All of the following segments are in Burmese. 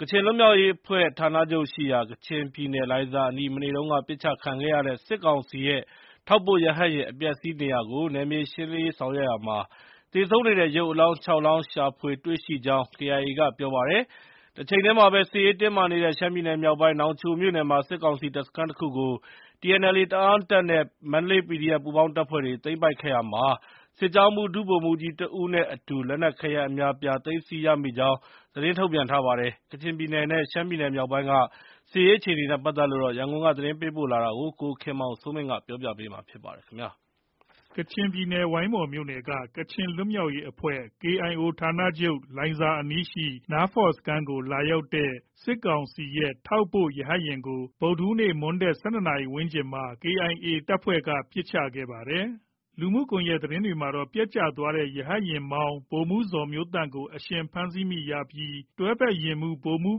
ကချင်လွတ်မြာက်ရေးအဖွဲ့ ဌာနချုပ်ရှိရာ၊ ကချင်ပြည်နယ် လိုင်ဇာအနီး မနေ့တုန်းက ပစ်ချခံခဲ့ရတဲ့ စစ်ကောင်စီရဲ့ ထောက်ပို့ ရဟတ်ယာဉ် အပျက်အဆီး နေရာကို နယ်မြေရှင်းလင်းရေးဆောင်ရွက်ရာမှာ သေဆုံးနေတဲ့ ရုပ်အလောင်း ၆ လောင်း ရှာဖွေတွေ့ရှိကြောင်း KIA ကပြောပါတယ်။ တချိန်တည်းမှာပဲ စစ်ရေးတင်းမာနေတဲ့ ရှမ်းပြည်နယ် မြောက်ပိုင်း နောင်ချိုမြို့နယ်မှာ စစ်ကောင်စီတပ်စခန်းတခုကို TNLA တအာင်းတပ်နဲ့ မန္တလေး PDF ပူးပေါင်းတပ်ဖွဲ့တွေက သိမ်းပိုက်ခဲ့ရာမှာ စစ်ကြောင်းမှုး ဒုဗိုလ်မှုးကြီး တဦးနဲ့အတူလက်နက်ခဲယမ်းအများအပြား သိမ်းဆီးရမိကြောင်း သတင်းထုတ်ပြန်ထားပါတယ်။ ကချင်ပြည်နယ်နဲ့ ရှမ်းပြည်မြောက်ပိုင်းက စစ်ရေး အခြေအနေတွေနဲ့ ပတ်သက်လို့ ရန်ကုန်က သတင်းပေးပို့ထားတာကို ကိုခင်မောင်စိုးမင်း တင်ပြပေးမှာ ဖြစ်ပါတယ်။ ကချင်ပြည်နယ် ဝိုင်းမော်မြို့နယ်က KIO ဌာနချုပ် လိုင်ဇာအနီးရှိ နားဖော့စခန်းကို လာရောက်တဲ့ စစ်ကောင်စီရဲ့ ထောက်ပို့လေယာဉ်ကို ဗုဒ္ဓဟူးနေ့ နေ့ခင်း ၁၂နာရီ ဝန်းကျင်မှာ KIA တပ်ဖွဲ့က ပစ်ချခဲ့တာပါ။ လူမှုကွန်ရက် သတင်းတွေမှာတော့ ပျက်ကျသွားတဲ့ စစ်ရဟတ်ယာဉ်က လေယာဉ်မှုး ဗိုလ်မှုး ဇော်မျိုးသန့်ကို အရှင်ဖမ်းဆီးရမိပြီး တွဲဘက်လေယာဉ်မှုး ဗိုလ်ကြီး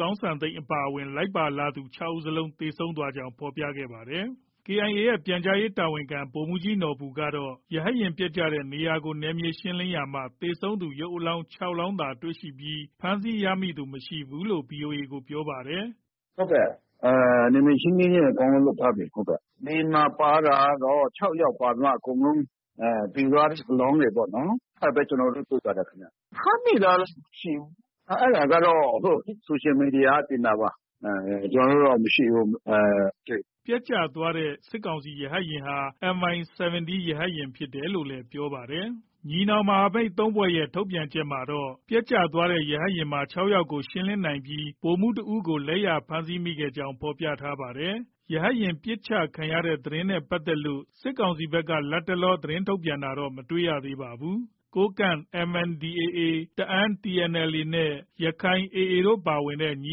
ကောင်းစံသိန်းအပါအဝင် လိုက်ပါလာသူ ၆ဦး သေဆုံးကြောင်း ဖော်ပြခဲ့ကြပါတယ်။ KIA ရဲ့ ပြန်ကြားရေးတာဝန်ခံ ဗိုလ်မှုးကြီးနော်ဘူကတော့ ရဟတ်ယာဉ်ပျက်ကျတဲ့နေရာကို နယ်မြေရှင်းလင်းရာမှာ သေဆုံးသူ ရုပ်အလောင်း ၆လောင်းသာ တွေ့ရပြီး ဖမ်းဆီး ရမိသူ မရှိဘူးလို့ VOA ကို ပြောပါတယ်။ “ ဟုတ်ကဲ့။ နယ်မြေရှင်းလင်းရေးတွေ အကုန်လုံးလုပ်ထားပြီ။ လေယာဉ်မှာ ပါတာကတော့ ၆ယောက်။ အကုန်လုံး သေသွားတဲ့အလောင်းတွေပေါ့နော်။ အဲဒါပဲ ကျနော်တို့ တွေ့ပါတယ်ခင်ဗျ။ ဖမ်းမိတာတော့ မရှိဘူး။ အဲဒါကတော့ ဆိုရှယ်မီဒီယာကတင်တာပါ။ ကျနော်တို့တော့ မရှိဘူး။ မတွေ့ဘူး။ ” ပျက်ကျသွားတဲ့ စစ်ကောင်စီ ရဟတ်ယာဉ်ဟာ MI 17 ရဟတ်ယာဉ်ဖြစ်တယ်လို့လည်း ပြောပါတယ်။ ညီနောင်မဟာမိတ် ၃ဖွဲ့ရဲ့ ထုတ်ပြန်ချက်မှာတော့ ပျက်ကျသွားတဲ့ ရဟတ်ယာဉ်မှာ ၆ယောက်ကို ရှင်းလင်းနိုင်ပြီး ဗိုလ်မှုးတဦးကို လက်ရဖမ်းဆီးခဲ့ကြောင်း ဖော်ပြပါတယ်။ ရဟတ်ယာဉ် ပစ်ချခံရတဲ့ သတင်းနဲ့ ပတ်သက်လို့ စစ်ကောင်စီဘက်က လတ်တလော သတင်းထုတ်ပြန်တာတော့ မတွေ့ရသေးပါဘူး။ ကိုးကန့် MNDAA ၊ တအာင်းTNLA နဲ့ ရက္ခိုင်AA တို့ ပါဝင်တဲ့ ညီ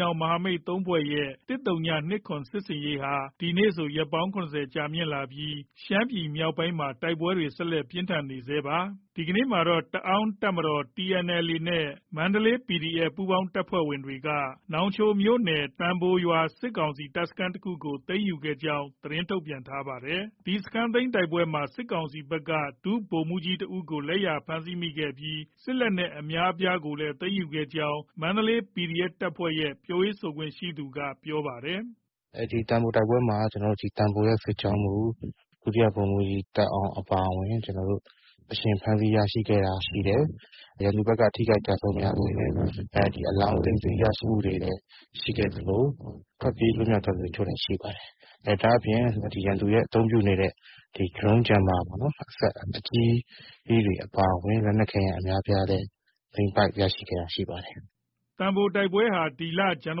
နောင်မဟာမိတ် ၃ဖွဲ့ရဲ့ ၁၀၂၇ စစ်ဆင်ရေးဟာ ဒီနေ့ဆို ရက်ပေါင်း ၇၀ ကြာမြင့်လာပြီး ရှမ်းပြည်နယ်မြောက်ပိုင်းမှာတိုက်ပွဲတွေ ဆက်လက် ပြင်းထန်နေဆဲရှိပါတယ်။ ဒီကနေ့မှာတော့ တအာင်းတပ်မတော် TNLA နဲ့ မန္တလေး PDF ပူးပေါင်းတပ်တွေက နောင်ချိုမြို့နယ်က သံဘိုရွာ စစ်ကောင်စီတပ်စခန်းတခုကို သိမ်းယူခဲ့ကြောင်း သတင်းထုတ်ပြန်ထားပါတယ်။ ဒီစခန်းသိမ်းတိုက်ပွဲမှာ စစ်ကောင်စီဘက်က ဒုဗိုလ်မှုးကြီး တဦးကို လက်ရဖမ်းဆီးခဲ့ပြီး စစ်လက်နက်အများအပြားကိုလည်း သိမ်းယူခဲ့ကြောင်း မန္တလေး PDF တပ်ဖွဲ့ရဲ့ ပြောရေးဆိုခွင့်ရှိသူက ပြောပါတယ်။ “ ဒီသံဘို တိုက်ပွဲမှာ သံဘိုရဲ့ စစ်ကြောင်းမှုး ဒုတိယဗိုလ်မှုးကြီး သက်အောင် အပါအဝင် အရှင်ဖမ်းဆီးရမိခဲ့တာ ရှိတယ်။ ရန်သူဘက်က ထိခိုက်ကျဆုံးများခဲ့တယ်။ ဒီအလောင်း သိမ်းဆည်းရမိတာတွေရှိခဲ့သလို ထွက်ပြေးလွတ်မြောက်သွားသူ အချို့လည်း ရှိပါတယ်။ ဒါအပြင် ရန်သူရဲ့ အသုံးပြုနေတဲ့ Drone Jammer စက်အကြီးတွေ အပါအဝင် လက်နက်ခဲယမ်းအများအပြားလည်း သိမ်းပိုက်ရရှိခဲ့တာ ရှိပါတယ်။ ” သံဘိုတိုက်ပွဲဟာ ဇန်န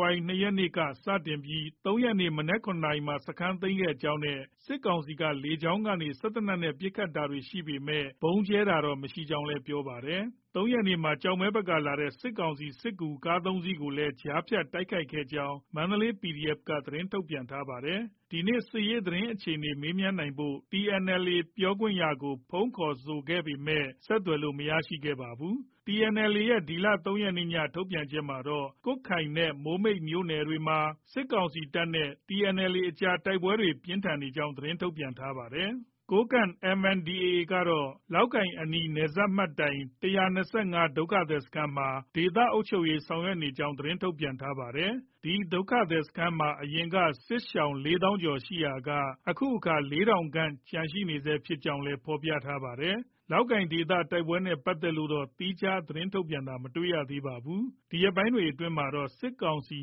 ဝါရီလ ၂ရက်နေ့က စတင်ပြီး ၃ရက်နေ့ မနက် ၇နာရီခွဲမှာ စခန်းသိမ်းခဲ့ကြောင်းနဲ့ စစ်ကောင်စီက လေကြောင်းကနေ စက်သေနတ်နဲ့ ပစ်ခတ်တာတွေ ရှိပေမဲ့ ဗုံးကြဲတာတော့ မရှိကြောင်းလည်း ပြောပါတယ်။ ၃ရက်နေ့မှာ ကျောက်မဲဘက်က လာတဲ့ စစ်ကောင်စီရဲ့ စစ်ကူ ကား ၃စီးကိုလည်း ကြားဖြတ်တိုက်ခိုက်ခဲ့ ကြောင်း မန္တလေး PDF က သတင်းထုတ်ပြန်ထားပါတယ်။ ဒီနေ့ စစ်ရေးသတင်းအခြေအနေ မေးမြန်းနိုင်ဖို့ TNLA ပြောခွင့်ရကို ဖုန်း ခေါ်ဆိုခဲ့ပေမဲ့ ဆက်သွယ်လို့ မရခဲ့ပါဘူး။ TNLA ရဲ့ ဒီလ ၃ရက်နေ့ ည ထုတ်ပြန်ချက်မှာတော့ ကွတ်ခိုင်နဲ့ မိုးမိတ်မြို့နယ်တွေမှာ စစ်ကောင်စီတပ်နဲ့ TNLA အကြား တိုက်ပွဲပြင်းထန်နေကြောင်း ထုတ်ပြန်ထားပါတယ်။ ကိုးကန့် MNDAA ကတော့ လောက်ကိုင်အနီး နယ်စပ်မှတ်တိုင် ၁၂၅ ဒုက္ခသည်စခန်းမှာ ဒေသအုပ်ချုပ်ရေးဆောင်ရွက်နေကြောင်း သတင်းထုတ်ပြန်ထားပါတယ်။ ဒီဒုက္ခသည်စခန်းမှာအရင်က စစ်ရှောင် ၄သောင်းကျော် ရှိရာက အခု အခါ ၄ထောင်ခန့် ကျန်ရှိနေဆဲဖြစ်ကြောင်းလည်း ဖော်ပြထားပါတယ်။ လောက်ကိုင်ဒေသ တိုက်ပွဲတွေနဲ့ပတ်သက်လို့တော့ သီးခြား သတင်းထုတ်ပြန်တာ မတွေ့ ရပါဘူး။ ဒီရက်ပိုင်းတွေအတွင်းမှာတော့ စစ်ကောင်စီ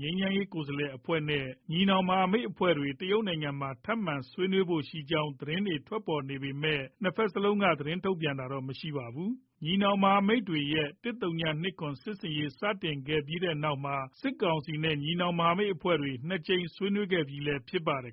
ငြိမ်းချမ်းရေး ကိုယ်စားလှယ်အဖွဲ့နဲ့ ညီနောင်မဟာမိတ်အဖွဲ့တွေ တရုတ်နိုင်ငံမှာ ထပ်မံဆွေးနွေးဖို့ရှိကြောင်း သတင်းတွေ ထွက်ပေါ်နေပေမဲ့ နှစ်ဘက်စလုံးက သတင်းထုတ်ပြန်တာတော့ မရှိပါဘူး။ ညီနောင်မဟာမိတ်တွေရဲ့ ၁၀၂၇ စစ်ဆင်ရေးစတင်ခဲ့ပြီးနောက်မှာ စစ်ကောင်စီနဲ့ ညီနောင်မဟာမိတ်အဖွဲ့တွေ ၂ ကြိမ်ဆွေးနွေးခဲ့ပြီးလည်း ဖြစ်ပါတယ်